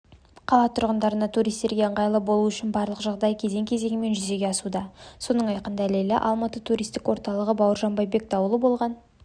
қала тұрғындарына туристерге ыңғайлы болуы үшін барлық жағдай кезең-кезеңімен жүзеге асуда соның айқын дәлелі алматы туристік орталығы бауыржан байбек даулы болған